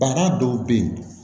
Bana dɔw bɛ yen